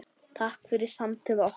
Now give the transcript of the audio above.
Takk fyrir samtöl okkar.